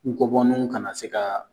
Nkɔbɔninw kana se ka